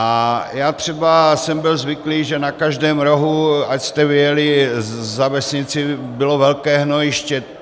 A já třeba jsem byl zvyklý, že na každém rohu, ať jste vyjeli za vesnici, bylo velké hnojiště.